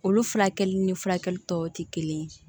Olu furakɛli ni furakɛli tɔw tɛ kelen ye